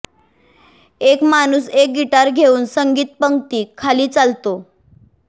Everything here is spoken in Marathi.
एक माणूस एक गिटार घेऊन संगीत पंक्ती खाली चालतो